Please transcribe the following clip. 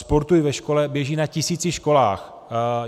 Sportuj ve škole běží na tisíci školách.